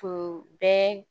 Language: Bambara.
Tun bɛ